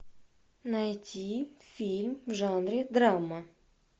найти фильм в жанре драма